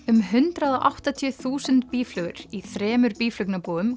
um hundrað og áttatíu þúsund býflugur í þremur